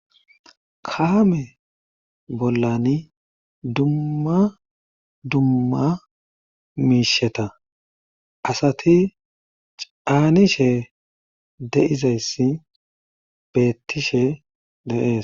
Kaame bollani dumma dumma miisheta asati caanishe de'izayssi beettishe de'ees.